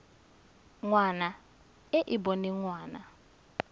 ngwana e e boneng ngwana